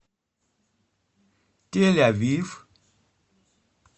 тель авив